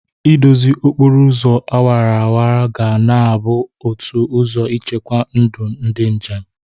Ị dozie okporo ụzọ awaraawara ga na-abụ otu ụzọ ichekwa ndụ ndị njem.